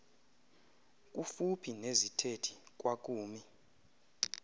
kufuphi nezithethi kwakumi